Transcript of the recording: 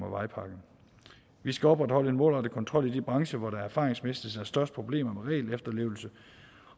vejpakken vi skal opretholde en målrettet kontrol i de brancher hvor der erfaringsmæssigt er størst problemer med regelefterlevelse